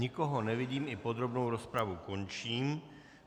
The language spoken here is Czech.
Nikoho nevidím, i podrobnou rozpravu končím.